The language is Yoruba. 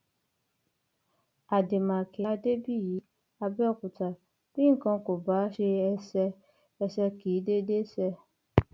àdèmàkè adébíyí àbẹòkúta bí nǹkan kò bá ṣe ẹsẹ ẹsẹ kì í dédé ṣe